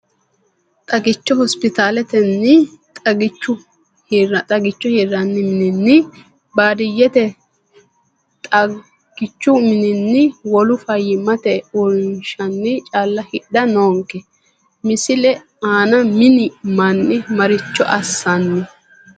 Xagicho hospiitaletenni, xagicho hirranni mininni, baadiyyete xagi chu mininni, wolu fayyimmate uurrinshinni calla hidha noonke, Misile aana mini manni maricho assanni?